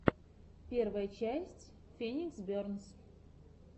первая часть феникс бернс